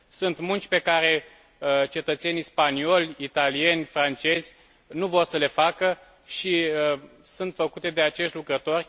Sunt munci pe care cetățenii spanioli, italieni, francezi nu vor să le facă și sunt făcute de acești lucrători